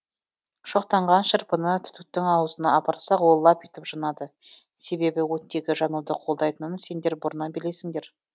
шоқтанған шырпыны түтіктің аузына апарсақ ол лап етіп жанады себебі оттегі жануды қолдайтынын сендер бұрыннан білесіңдер